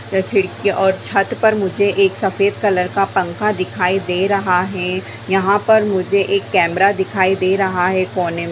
--और छत पर मुझे एक सफेद कलर का पंखा दिखाई दे रहा है यहाँ पर मुझे एक केमेरा दिखाई दे रहा है कोने--